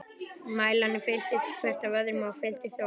Mælarnir fylltust, hver af öðrum- og fylltust oft.